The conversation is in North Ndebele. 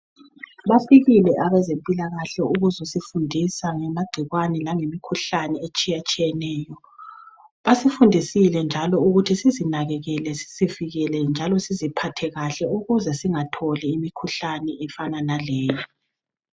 Bafikile abezempilakahle ukuzosifundisa ngamagcikwane langemikhuhlane etshiyatshiyeneyo. Basifundisile njalo ukuthi sizinakekele sizivikele njalo siziphathekahle ukuze singatholi imikhuhlane efana naleyi.